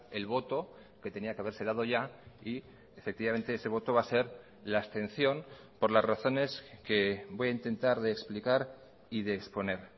el voto que tenía que haberse dado ya y efectivamente ese voto va a ser la abstención por las razones que voy a intentar de explicar y de exponer